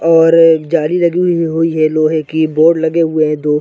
और ज़ाली लगी हुई है लोहै की बोर्ड लगे हुए है दो --